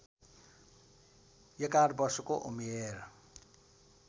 ११ वर्षको उमेर